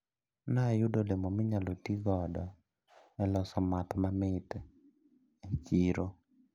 Nayudo olemo minyalo tigodo eloso math mamit e chiro.